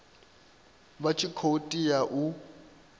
vha tshi khou tea u